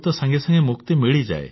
ରୋଗରୁ ତ ସାଙ୍ଗେ ସାଙ୍ଗେ ମୁକ୍ତି ମିଳିଯାଏ